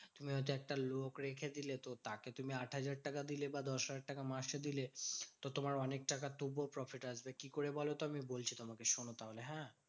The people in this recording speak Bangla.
তুমি হয়তো একটা লোক রেখে দিলে। তাকে তুমি আট হাজার টাকা দিলে বা দশ হাজার টাকা মাসে দিলে। তো তোমার অনেক টাকা তবুও profit আসবে। কি করে বলতো? আমি বলছি তোমাকে শোনো তাহলে হ্যাঁ?